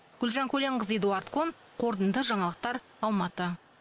гүлжан көленқызы эдуард кон қорытынды жаңалықтар алматы